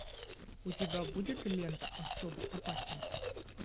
у тебя будет лента особо опасен